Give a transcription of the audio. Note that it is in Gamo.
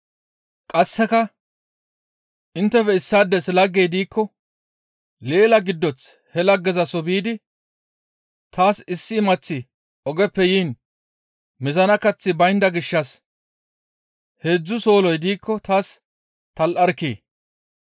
Qasseka, «Inttefe issaades laggey diikko leela giddoth he laggezaso biidi, ‹Taas issi imaththi ogeppe yiin mizana kaththi baynda gishshas heedzdzu solloy diikko taas tal7arkkii?›